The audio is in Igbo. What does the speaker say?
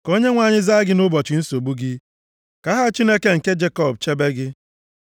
Ka Onyenwe anyị zaa gị nʼụbọchị nsogbu gị; ka aha Chineke nke Jekọb chebe gị.